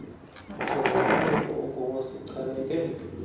somncipheko okuwo sichaneke